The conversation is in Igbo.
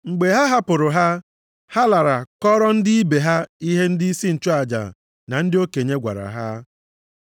Mgbe ha hapụrụ ha, ha lara kọọrọ ndị ibe ha ihe ndịisi nchụaja na ndị okenye gwara ha.